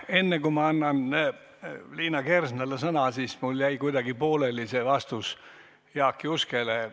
Enne kui ma annan Liina Kersnale sõna, ütlen, et mul jäi kuidagi pooleli vastus Jaak Juskele.